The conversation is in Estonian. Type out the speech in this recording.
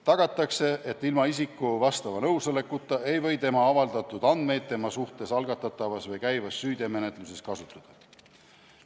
Tagatakse, et ilma isiku vastava nõusolekuta ei või tema avaldatud andmeid tema suhtes algatatavas või käivas süüteomenetluses kasutada.